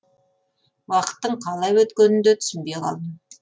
уақыттың қалай өткенін де түсінбей қалдым